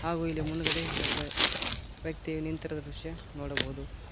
ಹಾಗು ಇಲ್ಲಿ ಮುಂದ್ಗಡೆ ಒಬ್ಬ ವ್ಯಕ್ತಿಯು ನಿಂತಿರುವ ದೃಶ್ಯ ನೋಡಬಹುದು.